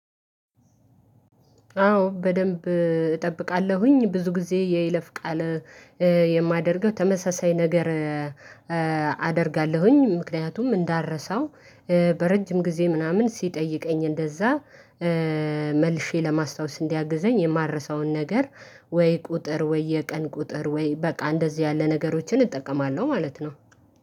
አዎ በደንብ እጠብቃለሁኝ ብዙ ጊዜ የይለፍ ቃል የማደርገው ተመሳሳይ ነገር። አደርጋለሁኝ ምክንያቱም እንዳረሳው በረጅም ጊዜ ምናምን ሲጠይቀኝ እንደዛ መልሸ ለማስታወስ እንዲያግዘኝ የማልረሳውን ነገር ወይ ቁጥር ወይ የቀን ቁጥር ወይ በቃ እንደዚህ ያለ ነገሮችን እጠቀማለሁ ማለት ነው